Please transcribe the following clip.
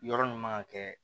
Yɔrɔ min man ka kɛ